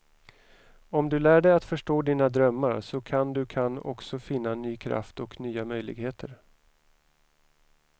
Om du lär dig att förstå dina drömmar så kan du kan också finna ny kraft och nya möjligheter.